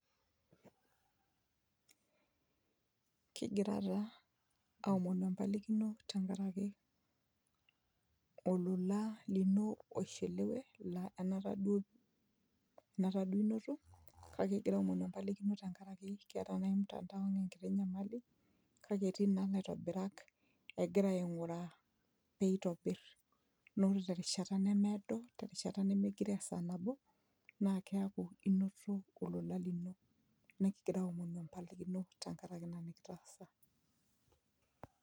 [pauser]Kigira taa aomonu empalikino tenkaraki olola lino oishiliwe laa enaata duo, enata duo inoto kake kingira aomonu empalikino tenkaraki keeta naaji mtandao ang enkiti nyamali kake etii naa ilaitobirak egira aing'uraa peitobirr naa ore terishata nemeedo terishata nemegiroo esaa nabo naa keaku inoto olola lino nikigira aomonu empalikino tenkaraki ina nikitaasa.